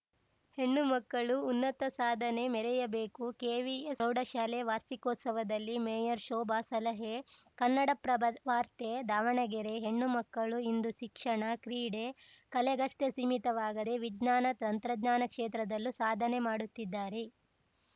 ಹೆಣ್ಣುಮಕ್ಕಳು ಉನ್ನತ ಸಾಧನೆ ಮೆರೆಯಬೇಕು ಕೆವಿ ಪ್ರೌಢಶಾಲೆ ವಾರ್ಷಿಕೋತ್ಸವದಲ್ಲಿ ಮೇಯರ್‌ ಶೋಭಾ ಸಲಹೆ ಕನ್ನಡಪ್ರಭ ವಾರ್ತೆ ದಾವಣಗೆರೆ ಹೆಣ್ಣುಮಕ್ಕಳು ಇಂದು ಶಿಕ್ಷಣ ಕ್ರೀಡೆ ಕಲೆಗಷ್ಟೇ ಸೀಮಿತವಾಗದೇ ವಿಜ್ಞಾನ ತಂತ್ರಜ್ಞಾನ ಕ್ಷೇತ್ರದಲ್ಲೂ ಸಾಧನೆ ಮಾಡುತ್ತಿದ್ದಾರೆ